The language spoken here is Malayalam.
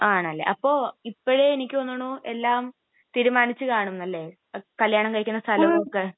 ആണല്ലേ, അപ്പൊ ഇപ്പോഴേ എനിക്ക് തോന്നണു എല്ലാം തീരുമാനിച്ചുകാണുംന്ന് അല്ലെ? കല്യാണം കഴിക്കണ സ്ഥലമൊക്കെ?